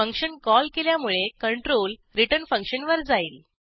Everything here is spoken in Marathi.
फंक्शन कॉल केल्यामुळे कंट्रोल return function वर जाईल